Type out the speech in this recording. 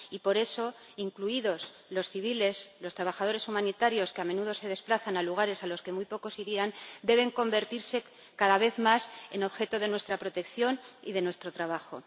Y, por eso, incluidos los civiles, los trabajadores humanitarios, que a menudo se desplazan a lugares a los que muy pocos irían, deben convertirse, cada vez más, en objeto de nuestra protección y de nuestro trabajo.